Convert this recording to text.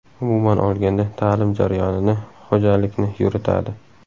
Umuman olganda, ta’lim jarayonini, ho‘jalikni yuritadi.